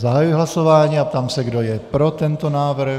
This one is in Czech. Zahajuji hlasování a ptám se, kdo je pro tento návrh.